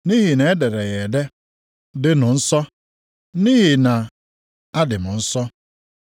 Nʼihi na e dere ya ede, “Dịnụ nsọ, nʼihi na adị m nsọ.” + 1:16 \+xt Lev 11:44,45; 19:2\+xt*